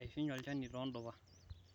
eshunye olnjani to ndupa